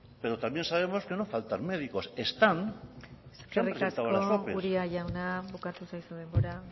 pero también sabemos que no faltan médicos están se han presentado a las ope eskerrik asko uria jauna bukatu zaizu denbora